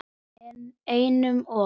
Einum of